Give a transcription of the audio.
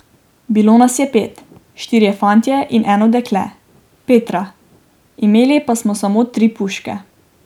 Bilo nas je pet, štirje fantje in eno dekle, Petra, imeli pa smo samo tri puške.